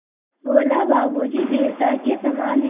बोला बाबू जी देवता के समान हैं